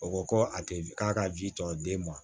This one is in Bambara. O ko ko a te k'a ka ji tɔ den ma